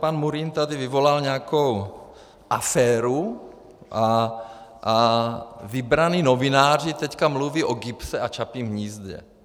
Pan Murín tady vyvolal nějakou aféru a vybraní novináři teď mluví o GIBS a Čapím hnízdě.